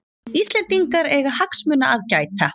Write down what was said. Íslendingar eiga hagsmuna að gæta